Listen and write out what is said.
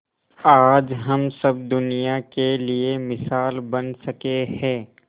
आज हम सब दुनिया के लिए मिसाल बन सके है